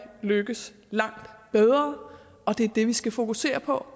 lykkes langt bedre og det er det vi skal fokusere på